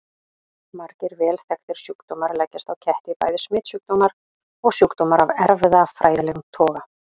Margir vel þekktir sjúkdómar leggjast á ketti, bæði smitsjúkdómar og sjúkdómar af erfðafræðilegum toga.